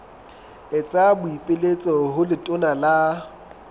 etsa boipiletso ho letona la